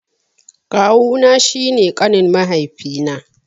Kawu na shi ne ƙanin mahaifi na.